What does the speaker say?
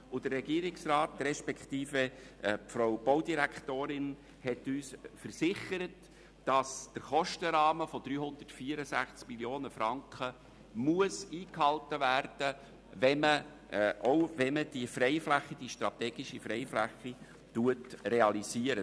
Der Regierungsrat respektive die Frau Baudirektorin hat uns versichert, dass der Kostenrahmen von 364 Mio. Franken eingehalten werden muss, auch wenn man die strategische Freifläche realisiert.